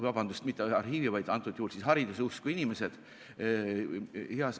vabandust, mitte arhiivi-, vaid antud juhul siis hariduseusku inimesed.